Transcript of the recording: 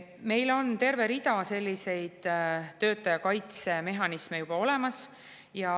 Meil on terve rida selliseid töötaja kaitse mehhanisme juba olemas.